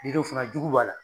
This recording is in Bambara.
Yiriw fana jugu b'a la